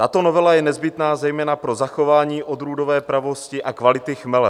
Tato novela je nezbytná zejména pro zachování odrůdové pravosti a kvality chmele.